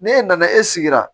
N'e nana e sigira